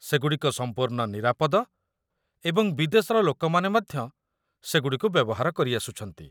ସେ ଗୁଡ଼ିକ ସମ୍ପୂର୍ଣ୍ଣ ନିରାପଦ ଏବଂ ବିଦେଶର ଲୋକମାନେ ମଧ୍ୟ ସେ ଗୁଡ଼ିକୁ ବ୍ୟବହାର କରିଆସୁଛନ୍ତି।